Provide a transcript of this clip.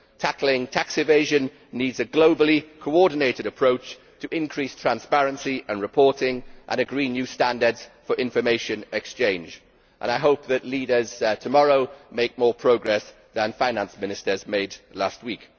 Tackling tax evasion demands a globally coordinated approach to increase transparency and reporting and agree new standards for information exchange, and I hope that the leaders make more progress tomorrow than the Finance Ministers made last week.